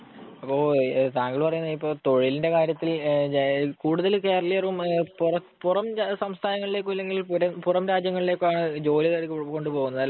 അപ്പൊ താങ്കള്‍ പറയുന്നേ ഇപ്പൊ തൊഴിലിന്‍റെ കാര്യത്തില് കൂടുതല്‍ കേരളിയരും പുറം സംസ്ഥാനങ്ങളിലെക്കോ, അല്ലെങ്കില്‍ പുറം രാജ്യങ്ങളിക്കോ ആണ് ജോലി തേടി കൊണ്ട് പോകുന്നത് അല്ലേ.